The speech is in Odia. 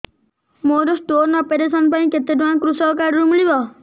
ମୋର ସ୍ଟୋନ୍ ଅପେରସନ ପାଇଁ କେତେ ଟଙ୍କା କୃଷକ କାର୍ଡ ରୁ ମିଳିବ